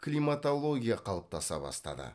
климатология қалыптаса бастады